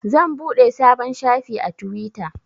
Zan buɗe sabon shafi a twitter.